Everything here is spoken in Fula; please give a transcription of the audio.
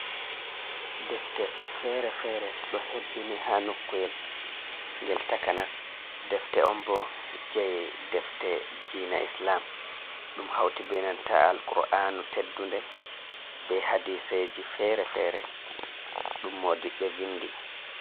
Defte fere-fere ɗo hebbini ha nokuel gel takanas, defte on bo jey defte dina islam, ɗum hauti be nanta 'al qro'anu teddunde, be hadiseji fere-fere ɗum modiɓe vindi.